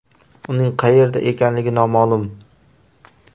Uning qayerda ekanligi noma’lum.